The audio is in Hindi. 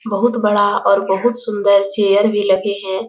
बहुत बड़ा और बहुत सुन्दर चेयर भी लगे हैं ।